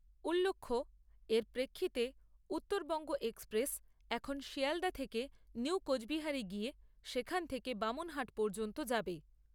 উল্লখ্য, এর প্রেক্ষিতে, উত্তরবঙ্গ এক্সপ্রেস এখন শিয়ালদা থেকে নিউ কোচবিহারে গিয়ে সেখান থেকে বামনহাট পর্যন্ত যাবে।